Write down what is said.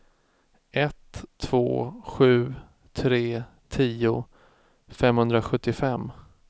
ett två sju tre tio femhundrasjuttiofem